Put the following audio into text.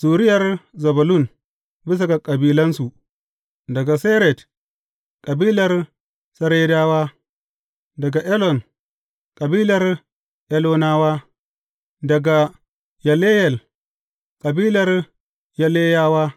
Zuriyar Zebulun bisa ga kabilansu, daga Sered, kabilar Seredawa; daga Elon kabilar Elonawa; daga Yaleyel; kabilar Yaleyewa.